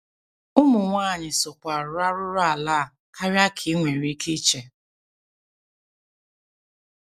Ụmụ nwanyị sokwa arụ arụrụala a karịa ka i nwere ike iche.